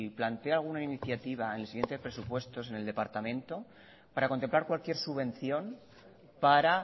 plantea alguna iniciativa en el siguiente presupuesto en el departamento para contemplar cualquier subvención para